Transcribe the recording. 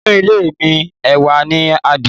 Nínù ilé mí, awá ní àdiẹ